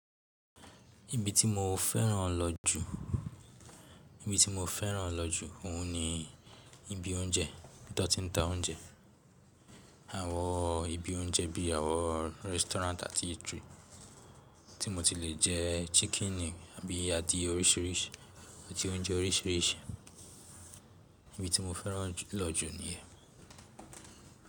Ibi tí mo fẹ́ràn lọ jù, ibi tí mo fẹ́ràn lọ jù òun ni ibi oúnjẹ, ibi tan tí ń ta oúnjẹ. Àwọn ibi oúnjẹ bí àwọn restaurant àti eatery tí mo ti lè jẹ chicken ni àbí adìẹ oríṣìíríṣìí àti oúnjẹ oríṣìíríṣìí. Ibi tí mo fẹ́ràn lọ jù ni ìyẹn.